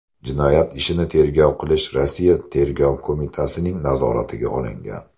Jinoyat ishini tergov qilish Rossiya Tergov qo‘mitasining nazoratiga olingan.